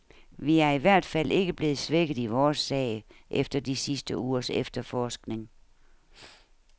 Vi er i hvert fald ikke blevet svækket i vores sag efter de sidste ugers efterforskning.